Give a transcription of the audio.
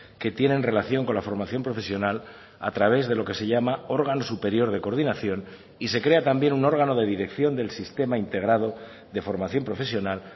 que tienen relación con la formación profesional a través de lo que se llama órgano superior de coordinación y se crea también un órgano de dirección del sistema integrado de formación profesional